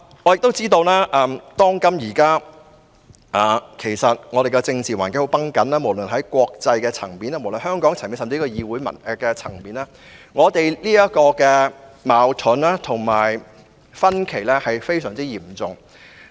我知道現今的政治環境很繃緊，無論是在國際層面、香港層面，甚至議會層面，大家的矛盾及分歧均非常嚴重。